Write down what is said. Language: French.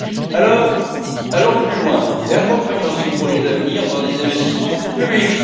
Alors, allons plus loin et accompagnons ces projets d'avenir par des investissements publics.